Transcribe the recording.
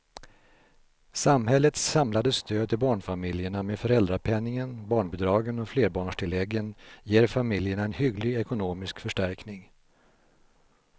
Samhällets samlade stöd till barnfamiljerna med föräldrapenningen, barnbidragen och flerbarnstilläggen ger familjerna en hygglig ekonomisk förstärkning.